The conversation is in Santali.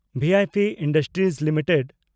V I P industries limited